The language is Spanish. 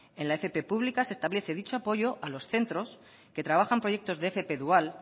en la fp púbica se establece dicho apoyo a los centros que trabajan proyectos de fp dual